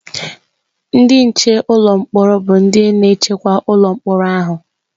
Ndị nche ụlọ mkpọrọ bụ ndị na-echekwa ụlọ mkpọrọ ahụ.